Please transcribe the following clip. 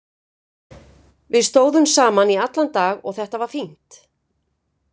Við stóðum saman í allan dag og þetta var fínt.